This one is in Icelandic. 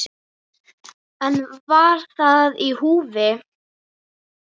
En var það í húfi?